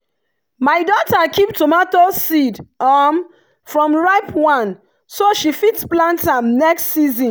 my daughter keep tomato seed um from ripe one so she fit plant am next season.